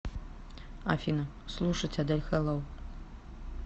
афина слушать адель хэллоу